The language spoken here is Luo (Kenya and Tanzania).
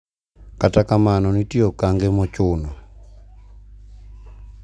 Kata kamano nitie okange mochuno.